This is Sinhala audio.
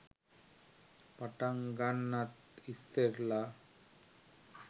පටන් ගන්නත් ඉස්සෙල්ල